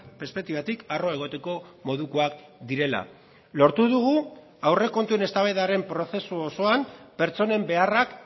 perspektibatik arro egoteko modukoak direla lortu dugu aurrekontuen eztabaidaren prozesu osoan pertsonen beharrak